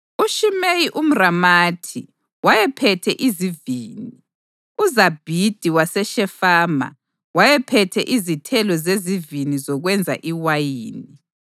UShimeyi umʼRamathi wayephethe izivini. UZabhidi waseShefama wayephethe izithelo zezivini zokwenza iwayini.